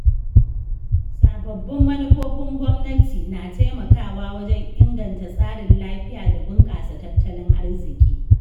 Sababbin manufofin gwamnati na taimakawa wajen inganta tsarin lafiya da bunƙasa tattalin arziki.